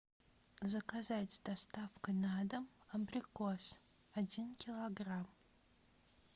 заказать с доставкой на дом абрикос один килограмм